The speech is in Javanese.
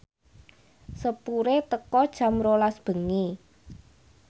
sepure teka jam rolas bengi